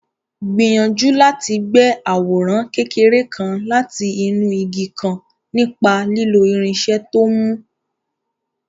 Gbìyànjú láti gbẹ́ àwòrán kékeré kan láti inú igi kan nípa lílo irinṣẹ́ tó mú.